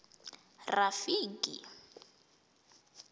rafiki